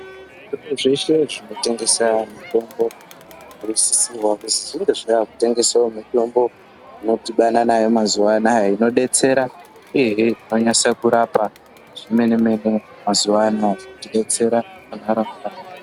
Zvitoro zveshe zvinotengesa mitombo zvinosisirwa kuzi zvinge zvaakutengesawo mitombo inodhibada nayo mazuva anaya inodetsera ehe inonyasa kurapa zvemene mene mazuva ano inodetsera munharaunda.